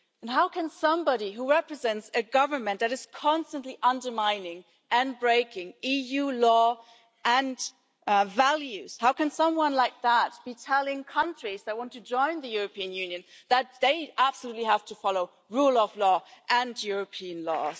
How can somebody who represents a government that is constantly undermining and breaking EU law and values, how can someone like that be telling countries that want to join the European Union that they absolutely have to follow rule of law and European law?